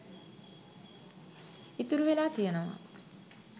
ඉතුරු වෙලා තියෙනවා.